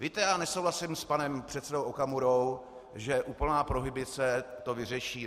Víte, já nesouhlasím s panem předsedou Okamurou, že úplná prohibice to vyřeší.